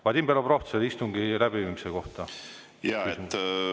Vadim Belobrovtsev, istungi läbiviimise kohta küsimus.